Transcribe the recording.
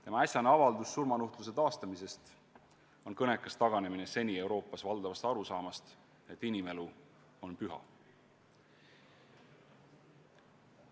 Tema äsjane avaldus surmanuhtluse taastamise kohta on kõnekas taganemine seni Euroopas valdav olnud arusaamast, et inimelu on püha.